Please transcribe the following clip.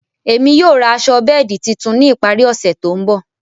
Émi yóò rá aṣọ bẹẹdi títún ni ìparí ọsẹ tó nbọ̀.